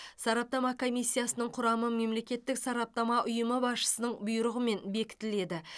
сараптама комиссиясының құрамы мемлекеттік сараптама ұйымы басшысының бұйрығымен бекітіледі